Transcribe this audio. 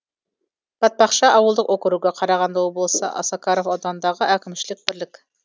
батпақты ауылдық округі қарағанды облысы осакаров ауданындағы әкімшілік бірлік